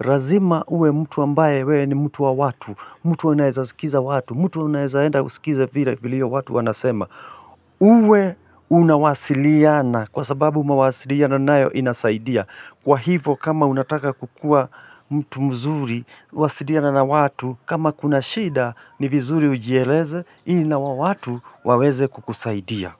Lazima uwe mtu ambaye wewe ni mtu wa watu, mtu anaeza sikiza watu, mtu anaeza enda usikize vile watu wanasema. Uwe unawasiliana kwa sababu mawasiliano nayo inasaidia. Kwa hivo kama unataka kukua mtu mzuri, wasiliana na watu, kama kuna shida ni vizuri ujieleze ili na wao watu waweze kukusaidia.